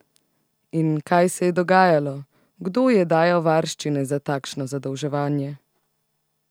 In kaj se je dogajalo, kdo je dajal varščine za takšno zadolževanje?